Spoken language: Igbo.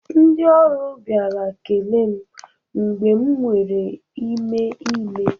Ndị ọrụ bịara kelee m mgbe m nwere ime ime